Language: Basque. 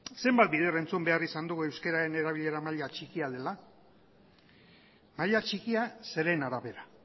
zenbat bider entzun behar izan dugu euskararen erabilera maila txikia dela maila txikia zeren arabera